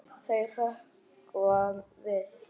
Þau hrökkva við.